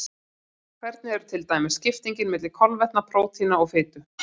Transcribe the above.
Hvernig er til dæmis skiptingin milli kolvetna, prótína og fitu?